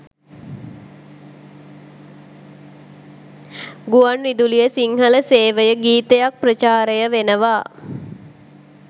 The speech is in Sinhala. ගුවන් විදුලියෙ සිංහල සේවයෙ ගීතයක් ප්‍රචාරය වෙනවා